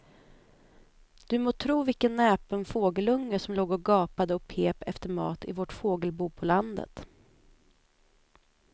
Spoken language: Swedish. Du må tro vilken näpen fågelunge som låg och gapade och pep efter mat i vårt fågelbo på landet.